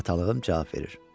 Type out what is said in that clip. Atalığım cavab verir.